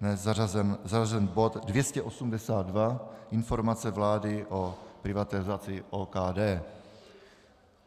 dnes zařazen bod 282 - Informace vlády o privatizaci OKD.